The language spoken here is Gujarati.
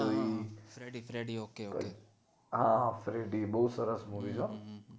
હા થ્રેડી બોવ સરસ movie છે હો